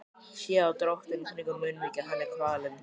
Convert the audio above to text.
Sé á dráttunum kringum munnvikin að hann er kvalinn.